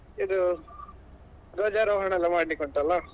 ಇದು ಧ್ವಜಾರೋಹಣ ಎಲ್ಲಾ ಮಾಡ್ಲಿಕ್ಕೆ ಉಂಟಲ್ಲಾ.